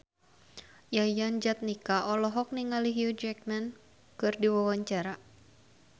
Yayan Jatnika olohok ningali Hugh Jackman keur diwawancara